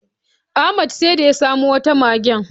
Ahmad sai dai ya samo wata magen.